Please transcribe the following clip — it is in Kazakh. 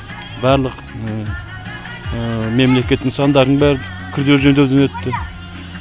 барлық мемлекет нысандардың бәрі күрделі жөндеуден өтті